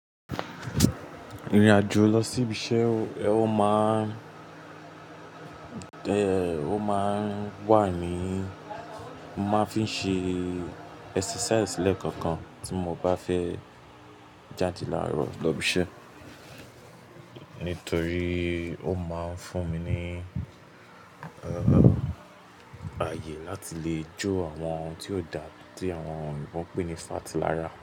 Ìrìn àjò lọ sí ibi iṣẹ́, ẹ ó máa ẹ̀ ó máa ń wà ní, mo máa ń fi ṣe exercise lẹ́ẹ̀kọ̀kan tí mo bá fẹ́ jáde láàárọ̀ lọ ibi iṣẹ́. Nítorí ó máa ń fún mi ní, eeh, ààyè láti lè jó àwọn ohun tí ó da, tí àwọn òyinbo n pè ní fáàtì lára.